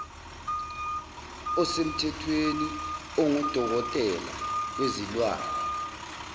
osemthethweni ongudokotela wezilwane